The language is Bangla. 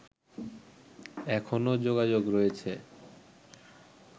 এখনও যোগাযোগ রয়েছে